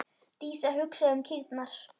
Dísa hugsaði um kýrnar.